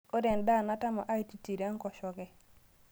Kore ndaa natama aititiro nkosheke